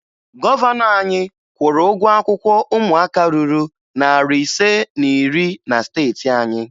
Gọvanọ anyị kwụrụ ụgwọ akwụkwọ ụmụaka ruru narị ise na iri na steeti anyị